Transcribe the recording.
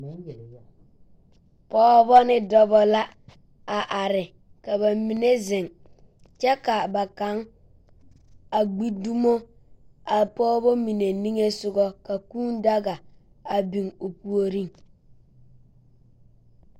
Pɔgeba ne dɔba la are, ka ba mine zeŋ kyɛ ka a ba kaŋ a gbi dumo a pɔgeba mine niŋe soga ka kũũ daga a biŋ o puoriŋ.